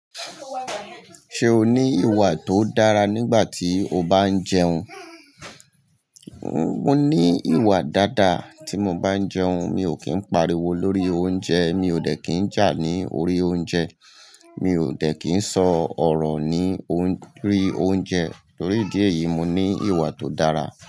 Ṣé o ní ìwà tó dára nígbà tí o bá ń jẹun? Mo ní ìwà dáadáa tí mo bá ń jẹun. Mi ò kí ń pariwo lórí oúnjẹ, mi ò dẹ̀ kí ń jà ní orí oúnjẹ, mi ò dẹ̀ kí ń sọ ọ̀rọ̀ ní orí oúnjẹ. Torí ìdí èyí, mo ní ìwà tó dára.